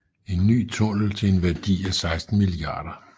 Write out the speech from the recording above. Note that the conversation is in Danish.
En ny tunnel til en værdi af 16 mia